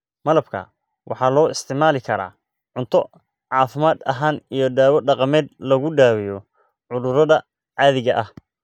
Malabka waxa loo isticmaali karaa cunto caafimaad ahaan iyo dawo dhaqameed lagu daweeyo cudurrada caadiga ah.